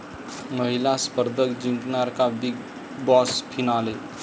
महिला स्पर्धक जिंकणार का 'बिग बॉस' फिनाले?